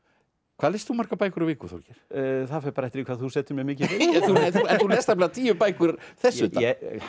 hvað lest þú margar bækur á viku Þorgeir það fer bara eftir hvað þú setur mér mikið fyrir en þú lest nefnilega tíu bækur þess utan